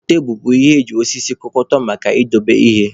Tebulu bụ ihe eji osisi kụkọta maka idobe ihe